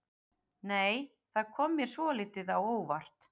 Nei! Það kom mér svolítið á óvart!